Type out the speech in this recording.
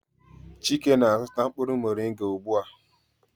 Chike na-azụta mkpụrụ moringa ugbu a.